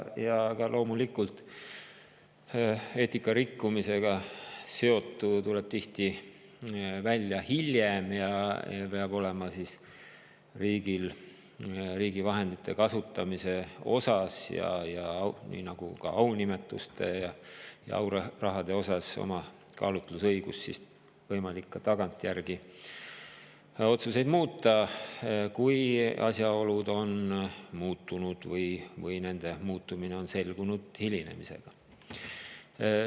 Ja loomulikult, eetika rikkumisega seotu tuleb tihti välja hiljem ja riigil peab riigi vahendite kasutamise osas, nii nagu ka aunimetuste ja aurahade osas olema kaalutlusõigus ja võimalik ka tagantjärgi otsuseid muuta, kui asjaolud on muutunud või nende muutumine on selgunud hilinemisega.